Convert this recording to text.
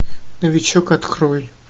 новичок открой